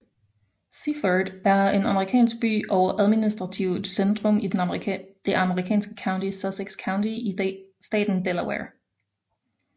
Seaford er en amerikansk by og administrativt centrum i det amerikanske county Sussex County i staten Delaware